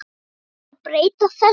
Þarf ekki að breyta þessu?